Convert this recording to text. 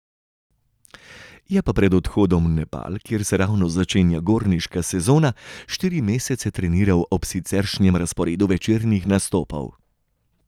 Je pa pred odhodom v Nepal, kjer se ravno začenja gorniška sezona, štiri mesece treniral ob siceršnjem razporedu večernih nastopov.